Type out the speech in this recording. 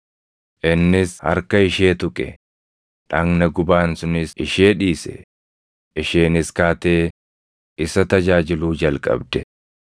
Innis harka ishee tuqe; dhagna gubaan sunis ishee dhiise; isheenis kaatee isa tajaajiluu jalqabde.